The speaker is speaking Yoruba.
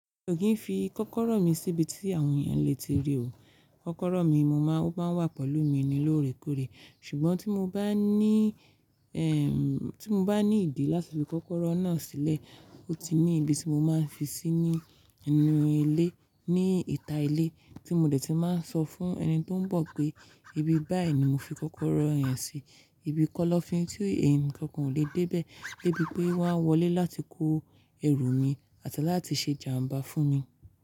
Mì o kin fi kọ́kọ́rọ́ mí síbi tí àwọn èèyàn lè ti rí òkú. Kọ́kọ́rọ́ mí mo máa ń wà pẹ̀lú mi ní lóòrèkóòrè. Ṣùgbọ́n tí mo bá ní, ẹ́ tí mo bá ní ìdí láti fi kọ́kọ́rọ́ náà sílẹ̀, ó ti ní ibi tí mo máa ń fi sí ní inú ilé, ní ìta ilé tí mo dẹ̀ ti máa ń sọ fún ẹni tó ń bọ̀ pé, ibi báyìí ni mo fi kọ́kọ́rọ́ yẹn sí. Ibi kọ́lọ́fin tí ẹnìkankan ò lè dé bẹ́ẹ̀, débi pé wọ́n wọlé láti kó ẹrù mi àti láti ṣe jàmbá fún mi.